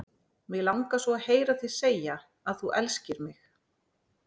Mig langar svo að heyra þig segja að þú elskir mig!